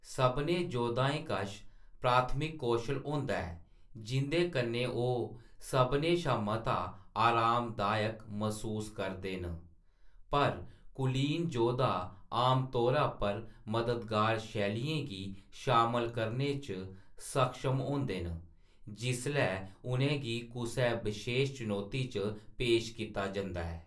सभनें योद्धाएं कश प्राथमिक कौशल होंदा ऐ जिंʼदे कन्नै ओह्‌‌ सभनें शा मता आरामदायक मसूस करदे न, पर कुलीन जोधा आमतौरे पर मददगार शैलियें गी शामल करने च सक्षम होंदे न जिसलै उʼनेंगी कुसै बशेश चनौती च पेश कीता जंदा ऐ।